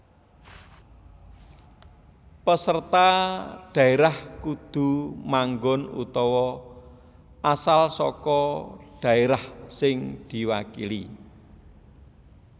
Peserta dhaérah kudu manggon utawa asal saka dhaérah sing diwakili